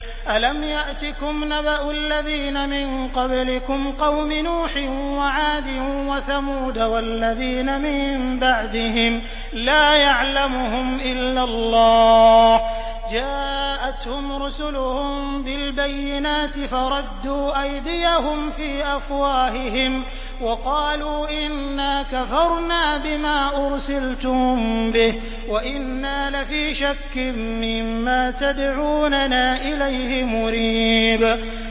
أَلَمْ يَأْتِكُمْ نَبَأُ الَّذِينَ مِن قَبْلِكُمْ قَوْمِ نُوحٍ وَعَادٍ وَثَمُودَ ۛ وَالَّذِينَ مِن بَعْدِهِمْ ۛ لَا يَعْلَمُهُمْ إِلَّا اللَّهُ ۚ جَاءَتْهُمْ رُسُلُهُم بِالْبَيِّنَاتِ فَرَدُّوا أَيْدِيَهُمْ فِي أَفْوَاهِهِمْ وَقَالُوا إِنَّا كَفَرْنَا بِمَا أُرْسِلْتُم بِهِ وَإِنَّا لَفِي شَكٍّ مِّمَّا تَدْعُونَنَا إِلَيْهِ مُرِيبٍ